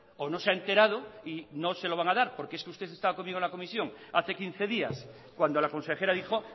o no se ha enterado y no se lo van a dar porque es que usted estaba comiendo la comisión hace quince días cuando la consejera dijo